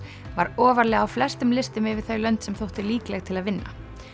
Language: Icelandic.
var ofarlega á flestum listum yfir þau lönd sem þóttu líkleg til að vinna